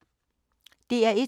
DR1